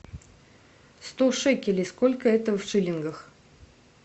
сто шекелей сколько это в шиллингах